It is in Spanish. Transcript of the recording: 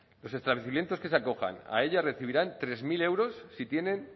los establecimientos que se acojan a ella recibirán tres mil euros si tienen